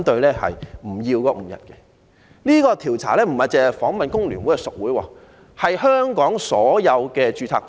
這項調查不單訪問了工聯會的屬會，亦諮詢了香港所有註冊工會。